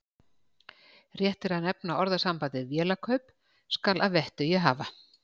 Rétt er að nefna orðasambandið vélakaup skal að vettugi hafa.